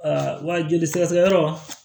wa joli sɛgɛsɛgɛ yɔrɔ